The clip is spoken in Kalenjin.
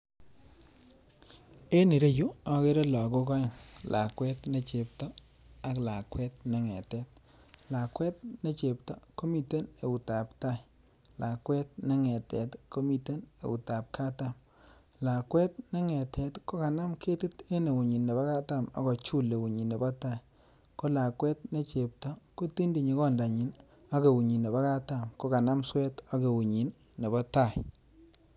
En ireyuu okere lokok oeng lakwet nechepto ak lakwet nengetet, lakwet nechepto komiten eutab tai kolakwet nengetet komiten eut ab katam, lakwet nengetet kokanam ketik en eunyin nebo katam ak kojul eunyin nebo tai, ko lakwet ne chepto kotintinyi kondanyin ak eunyin nebo katam kokanam suet ak eunyin nebo tai.